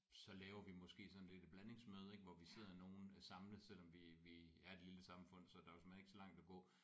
Så laver vi måske sådan lidt et blandingsmøde ik hvor vi sidder nogle samlet selvom vi vi er et lille samfund så der er jo såmænd ikke så langt at gå